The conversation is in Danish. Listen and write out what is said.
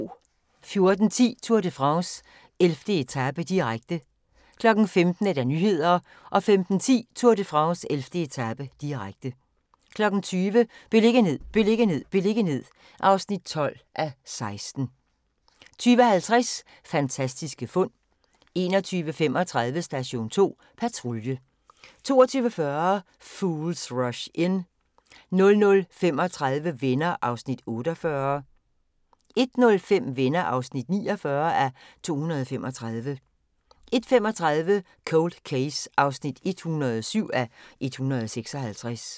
14:10: Tour de France: 11. etape, direkte 15:00: Nyhederne 15:10: Tour de France: 11. etape, direkte 20:00: Beliggenhed, beliggenhed, beliggenhed (12:16) 20:50: Fantastiske fund 21:35: Station 2 Patrulje 22:40: Fools Rush In 00:35: Venner (48:235) 01:05: Venner (49:235) 01:35: Cold Case (107:156)